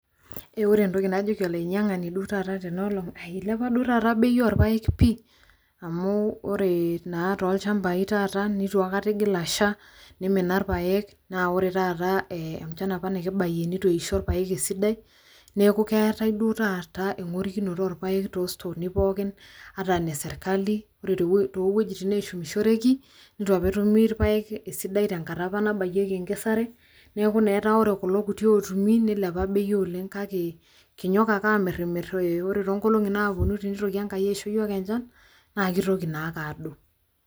Ore entoki najoki olainyangani duo taata tena olong naa eilepa duo taata bei oorpayek pii amuu ore naata taata tolchambai neitu akata eigil asha neimina irpayek naa ore taata enchan apa nikibayie neitu apa eisho irpayek esidai neeku keetae duo taata engorikinoto oorpayek too stooni pookin ata ne serkali ore too wuejitin pookin neeshumishoreki neitu apa etumi irpayek esidai tenkata apa nabayieki enkesare neeku naa ore kulo kuti ootumi neilepa bei oleng kake kinyok ake aamirimirr ore too nkolongi naapuoni teneitoki Enkai aisho yiok enchan naa keitoki naa ake aadou.